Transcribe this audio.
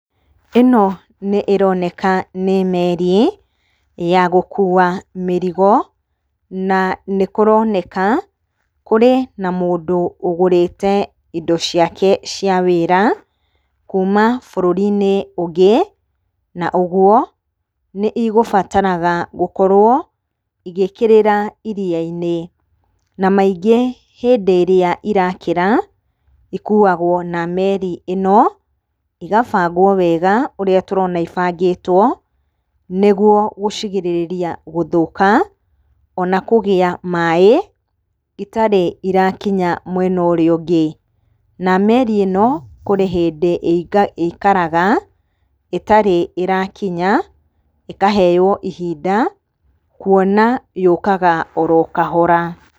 Ĩno nĩ-ĩroneka nĩ meri, ya gũkua mĩrigo, na nĩkũroneka kũrĩ na mũndũ ũgũrĩte indo ciake cia wĩra kuuma bũrũrinĩ ũngĩ. Na ũguo, nĩigũbataraga gũkorwo igĩkĩrĩra iria-inĩ. Na maingĩ hĩndĩ ĩrĩa irakĩra, ikuagwo na meri ĩno, igabangwo wega ũrĩa tũrona ibangĩtwo, nĩguo gũcigirĩrĩria gũthũka, ona kũgĩa maĩ itarĩ irakinya mwena ũrĩa ũngĩ. Na meri ĩno, kũrĩ hĩndĩ ĩikaraga ĩtarĩ ĩrakinya, ĩkaheo ihinda, kuona yũkaga oro kahora.